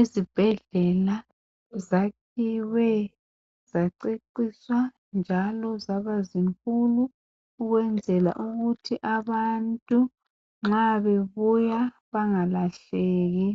Izibhedlela zakhiwe zaceciswa njalo zabazinkulu ukwenzela ukuthi abantu nxa bebuya bangalahleki